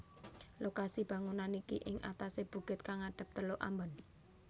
Lokasi bangunan niki ing atase bukit kang ngadep Teluk Ambon